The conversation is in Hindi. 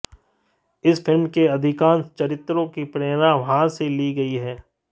इस फिल्म के अधिकांश चरित्रों की प्रेरणा वहां से ली गई है